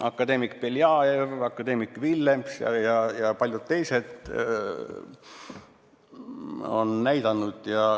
Akadeemik Beljajev, akadeemik Villems ja paljud teised on seda näidanud.